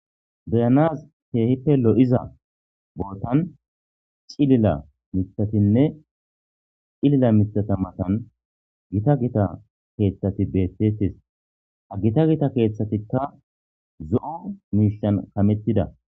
Beyanaz keehippe lo7iza bootan cilila mithatinne cilila mithata matan gita gita keeththati betetis ha gita gita keeththatikka zo7o miishan kamettida